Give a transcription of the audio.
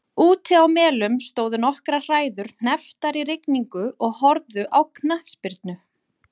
Úti á Melum stóðu nokkrar hræður hnepptar í rigningu og horfðu á knattspyrnu.